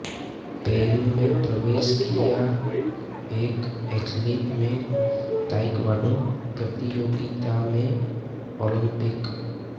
Peru में प्रवेश किया एक एथलीट में ताइक्वांडो प्रतियोगिता में ओलंपिक